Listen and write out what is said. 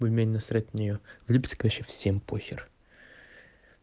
ну мне на срать на неё в липецке вообще всем похер